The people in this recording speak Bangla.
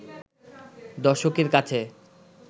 দর্শকের কাছে